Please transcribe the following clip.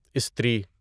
استری